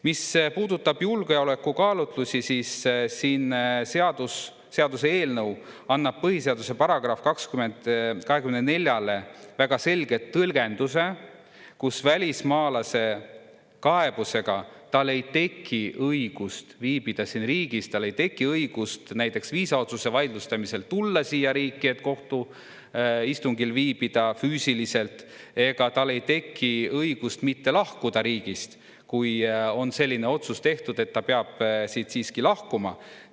Mis puudutab julgeolekukaalutlusi, siis siin seaduseelnõu annab põhiseaduse §-le 24 väga selgelt tõlgenduse, kus välismaalase kaebusega tal ei teki õigust viibida siin riigis, tal ei teki õigust näiteks viisaotsuse vaidlustamisel tulla siia riiki, et kohtu istungil viibida füüsiliselt, ega tal ei teki õigust mitte lahkuda riigist, kui on selline otsus tehtud, et ta peab siit siiski lahkuma.